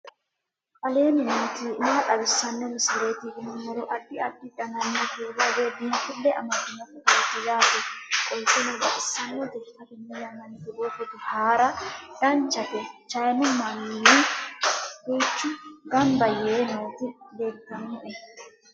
aleenni nooti maa xawisanno misileeti yinummoro addi addi dananna kuula woy biinfille amaddino footooti yaate qoltenno baxissannote xa tenne yannanni togoo footo haara danchate chayinu manni duuchu gamba yee nooti leeltanno